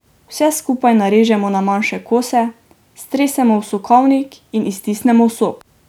Vse skupaj narežemo na manjše kose, stresemo v sokovnik in iztisnemo sok.